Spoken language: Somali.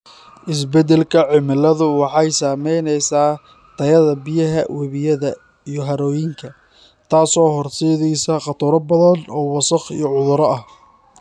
Isbeddelka cimiladu waxay saameynaysaa tayada biyaha webiyada iyo harooyinka, taasoo horseedaysa khataro badan oo wasakh iyo cudurro ah.